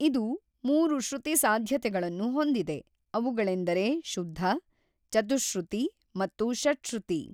ಇದು ಮೂರು ಶ್ರುತಿ ಸಾಧ್ಯತೆಗಳನ್ನು ಹೊಂದಿದೆ, ಅವುಗಳೆಂದರೆ ಶುದ್ಧ, ಚತುಃಶ್ರುತಿ ಮತ್ತು ಷಟ್‌ಶ್ರುತಿ.